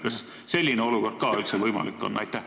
Kas selline olukord ka üldse võimalik on?